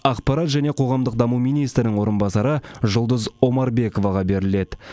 ақпарат және қоғамдық даму министрінің орынбасары жұлдыз омарбековаға беріледі